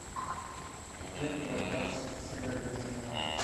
теплогазсервис